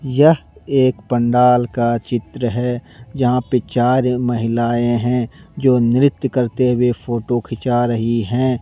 यह एक पंडाल का चित्र है यहां पर चार महिलाएं हैं जो नृत्य करते हुए फोटो खींचा रही है।